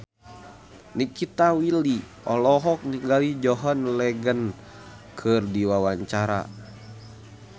Nikita Willy olohok ningali John Legend keur diwawancara